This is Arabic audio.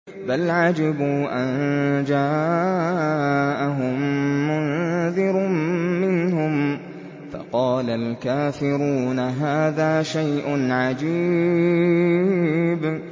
بَلْ عَجِبُوا أَن جَاءَهُم مُّنذِرٌ مِّنْهُمْ فَقَالَ الْكَافِرُونَ هَٰذَا شَيْءٌ عَجِيبٌ